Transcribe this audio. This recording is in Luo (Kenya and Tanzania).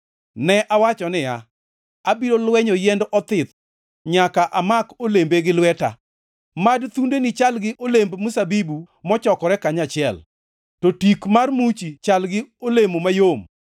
Ne awacho niya, “Abiro lwenyo yiend othith; nyaka amak olembe gi lweta.” Mad thundeni chal gi olemb, mzabibu mochokore kanyachiel, to tik mar muchi chal gi olemo mayom,